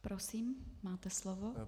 Prosím, máte slovo.